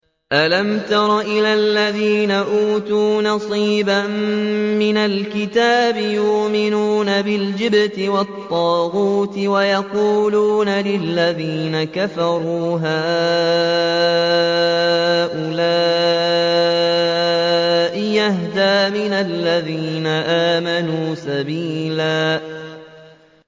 أَلَمْ تَرَ إِلَى الَّذِينَ أُوتُوا نَصِيبًا مِّنَ الْكِتَابِ يُؤْمِنُونَ بِالْجِبْتِ وَالطَّاغُوتِ وَيَقُولُونَ لِلَّذِينَ كَفَرُوا هَٰؤُلَاءِ أَهْدَىٰ مِنَ الَّذِينَ آمَنُوا سَبِيلًا